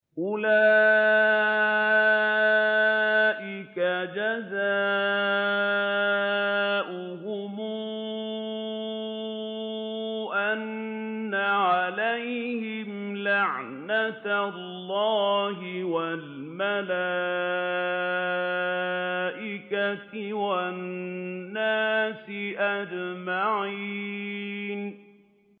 أُولَٰئِكَ جَزَاؤُهُمْ أَنَّ عَلَيْهِمْ لَعْنَةَ اللَّهِ وَالْمَلَائِكَةِ وَالنَّاسِ أَجْمَعِينَ